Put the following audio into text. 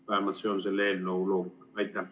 Vähemalt see on selle eelnõu loogika.